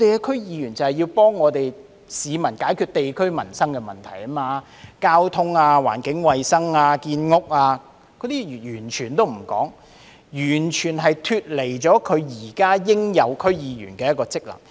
區議員是要幫助市民解決地區的民生問題，如交通、環境衞生、建屋等問題，所以他們完全沒有履行區議員應有的職能。